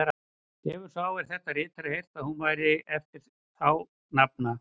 Hefir sá, er þetta ritar, heyrt, að hún væri eftir þá nafna